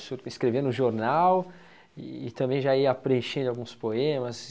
O senhor escrevia no jornal e também já ia preenchendo alguns poemas.